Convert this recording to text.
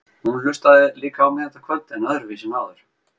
Hún hlustaði líka á mig þetta kvöld, en öðruvísi en áður.